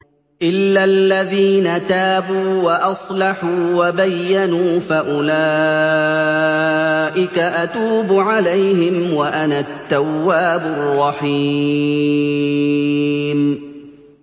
إِلَّا الَّذِينَ تَابُوا وَأَصْلَحُوا وَبَيَّنُوا فَأُولَٰئِكَ أَتُوبُ عَلَيْهِمْ ۚ وَأَنَا التَّوَّابُ الرَّحِيمُ